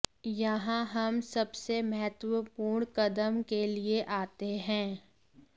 यहाँ हम सबसे महत्वपूर्ण कदम के लिए आते हैं